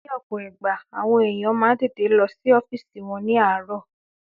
Ní ọ̀pọ̀ ìgbà, àwọn èèyàn máa n tètè lọ sí ọ́fìsì wọn ní àárò